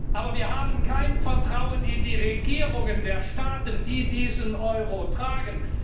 Aber wir haben kein Vertrauen in die Regierungen der Staaten, die diesen Euro tragen.